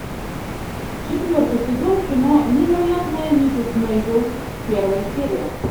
четвертый сезон кино невероятная миссис мейзел первая серия